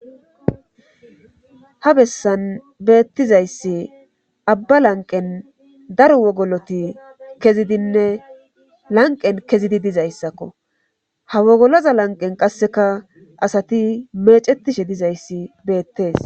ha bessan beettizayssi abba lanqen daro wogoloti kezidinne lanqen kezidi dizayssakko ha wogoloza lanqen qasseka asati meecetishe dizayssi beettees